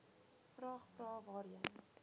vraag vrae waarheen